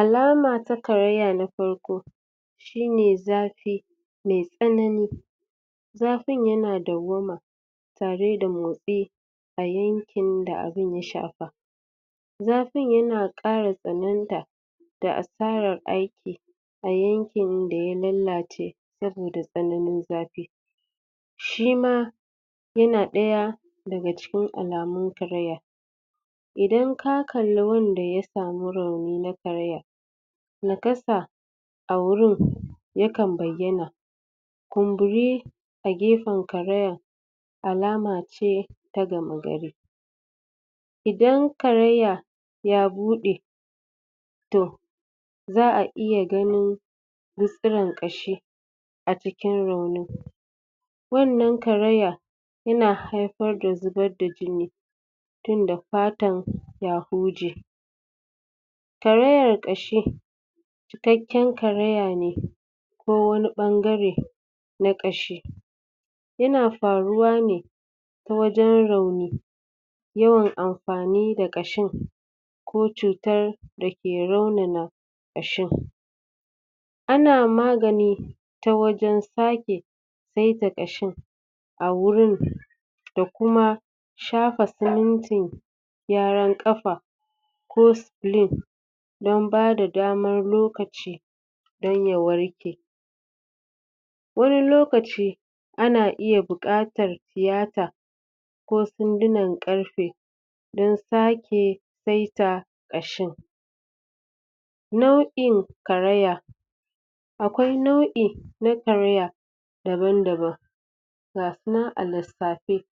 Alama ta karaya na farko; Shine zafi mai tsanani, zafin ya na dauwama tare da motsi a yankin da abun ya shafa. Zafin ya na ƙara tsananta da asara aiki a yankin da ya lalace sabida tsananin zafi. Shi ma ya na ɗaya daga cikin alamun karaya. Idan ka kalli wanda ya samu rauni na karaya, nakasa a wurin yakan bayyana. Kumburi a gefen karaya alama ce ta gama-gari. Idan karaya ya buɗe, to za'a iya ganin gutsuren ƙashi a cikin raunin. Wannan karaya ya na haifar da zubar da jini tun da fatan ya huje. Karayar ƙashi taken karaya ne ko wani ɓangare na ƙashi ya na faruwa ne ta wajen rauni yawan amfani da ƙashin ko cutar da ke raunan ƙashin. Ana magani ta wajen sake saita ƙashin a wurin da kuma shafa simintin gyaran ƙafa ko splu don ba da dama lokaci dan ya warke. Wani lokaci ana iya buƙatar tiyata ko sandunan ƙarfe don sake saita ƙashin. Nau'in karaya; Akwai nau'i na karaya daban-daban. Gasu nan a lissafe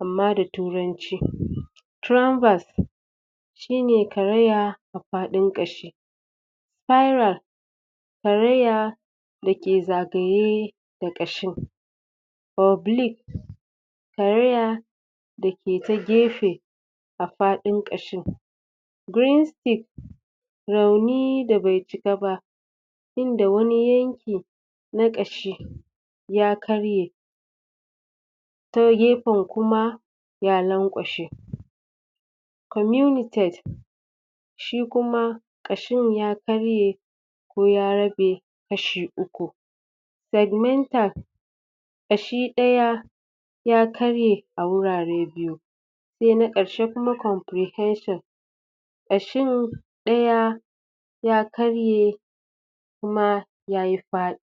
amma da turanci. Tranverse; Shi ne karaya a faɗin ƙashi. Piral; Karaya da ke zagaye da ƙashi. Obly; Karaya da ke ta gefe a faɗin ƙashin. Green stick; Rauni da bai cika ba, inda wani yanki na ƙashi ya karye ta gefen kuma ya lanƙwashe. Comunitate; Shi kuma Ƙashin ya karye ko ya rabe kashi uku. Segmental; Ƙashi ɗaya ya karye a wurare biyu. Sa na ƙarshe kuma comprehension; Ƙshin ɗaya ya karye kuma yayi fa